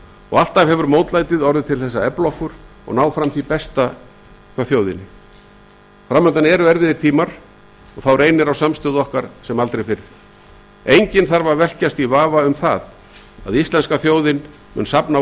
og alltaf hefur mótlætið orðið til þess að efla okkur og ná fram því besta í þjóðinni fram undan eru erfiðir tímar og þá reynir á samstöðu okkar sem aldrei fyrr enginn þarf að velkjast í vafa um að íslenska þjóðin mun safna